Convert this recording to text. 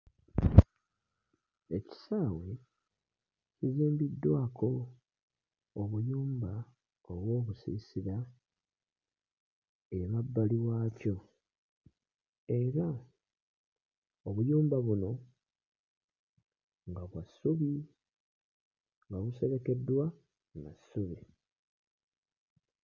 Ekisaawe kizimbiddwako obuyumba oba obusiisira emabbali waakyo era obuyumba buno nga bwa ssubi, nga buserekeddwa na ssubi.